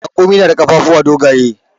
Raƙumi na da ƙafafuwa dogaye.